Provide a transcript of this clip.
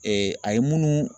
a ye munnu